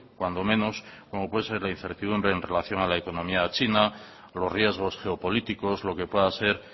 cuando menos como puede ser la incertidumbre en relación a la economía china los riesgos geopolíticos lo que pueda ser